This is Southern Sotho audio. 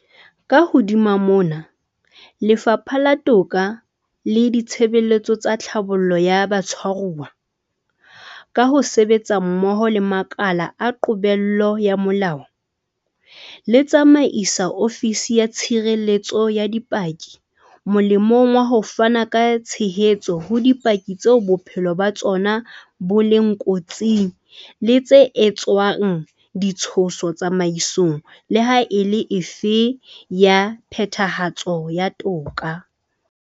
Ka hodima mona, Lefapha la Toka le Ditshebeletso tsa Tlhabollo ya Batshwaruwa, ka ho sebetsa mmoho le makala a qobello ya molao, le tsamaisa Ofisi ya Tshireletso ya Dipaki molemong wa ho fana ka tshehetso ho dipaki tseo bophelo ba tsona bo leng kotsing le tse etsetswang di tshoso tsamaisong le ha e le efe ya phethahatso ya toka.